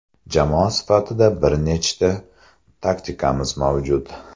Jamoa sifatida bir nechta taktikamiz mavjud.